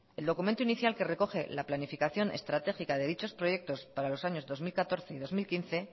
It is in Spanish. el documento inicial que recoge la planificación estratégica de dichos proyectos para los años dos mil catorce y dos mil quince